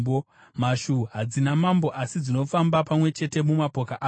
mhashu hadzina mambo, asi dzinofamba pamwe chete mumapoka adzo;